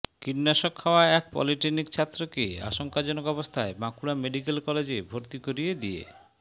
কীটনাশক খাওয়া এক পলিটেকনিক ছাত্রকে আশঙ্কাজনক অবস্থায় বাঁকুড়া মেডিক্যাল কলেজে ভর্তি করিয়ে দিয়ে